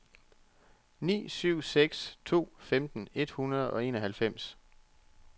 ni syv seks to femten et hundrede og enoghalvfems